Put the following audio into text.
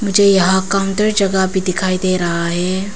मुझे यहां काउंटर जगह भी दिखाई दे रहा है।